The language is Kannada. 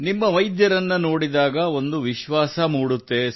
ನಿಮ್ಮ ವೈದ್ಯರನ್ನು ನೋಡಿದಾಗ ಒಂದು ವಿಶ್ವಾಸ ಮೂಡುತ್ತದೆ